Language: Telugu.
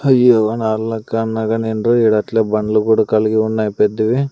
హయ్యో నాల్ నక్కా అన్నాగాని విండ్రు ఈడ అట్లే బండ్లు కూడ కలిగి ఉన్నాయి పెద్దవి.